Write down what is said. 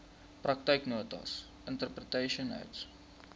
praktyknotas interpretation notes